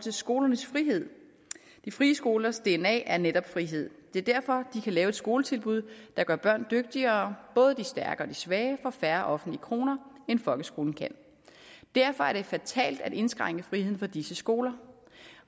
til skolernes frihed de frie skolers dna er netop frihed det er derfor de kan lave et skoletilbud der gør børn dygtigere både de stærke og de svage for færre offentlige kroner end folkeskolen kan derfor er det fatalt at indskrænke friheden for disse skoler